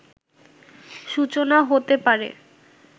সূচনা হতে পারে